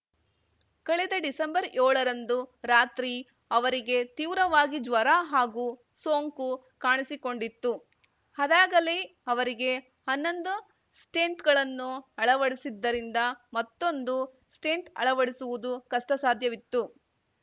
ಕಳೆದ ಡಿಸೆಂಬರ್ಯೋಳರಂದು ರಾತ್ರಿ ಅವರಿಗೆ ತೀವ್ರವಾಗಿ ಜ್ವರ ಹಾಗೂ ಸೋಂಕು ಕಾಣಿಸಿಕೊಂಡಿತ್ತು ಅದಾಗಲೇ ಅವರಿಗೆ ಹನ್ನೊಂದು ಸ್ಟೆಂಟ್‌ಗಳನ್ನು ಅಳವಡಿಸಿದ್ದರಿಂದ ಮತ್ತೊಂದು ಸ್ಟೆಂಟ್‌ ಅಳವಡಿಸುವುದು ಕಷ್ಟಸಾಧ್ಯವಿತ್ತು